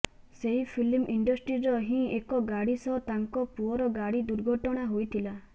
ସେହି ଫିଲ୍ମ ଇଣ୍ଡଷ୍ଟ୍ରୀର ହିଁ ଏକ ଗାଡ଼ି ସହ ତାଙ୍କ ପୁଅର ଗାଡ଼ି ଦୁର୍ଘଟଣା ହୋଇଥିଲା